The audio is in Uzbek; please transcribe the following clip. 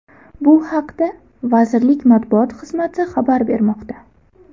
Bu haqda vazirlik Matbuot xizmati xabar bermoqda .